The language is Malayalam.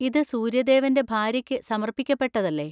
ഇത് സൂര്യദേവന്‍റെ ഭാര്യക്ക് സമർപ്പിക്കപ്പെട്ടതല്ലേ?